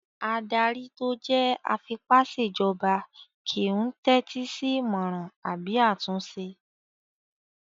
Adarí tó jẹ́ afipásèjọba kìí n tẹ́tí sí ìmọràn àbí àtúnṣe